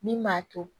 Min b'a to